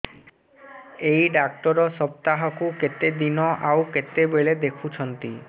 ଏଇ ଡ଼ାକ୍ତର ସପ୍ତାହକୁ କେତେଦିନ ଆଉ କେତେବେଳେ ଦେଖୁଛନ୍ତି